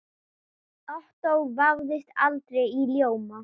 Ottó vafðist aldrei í ljóma.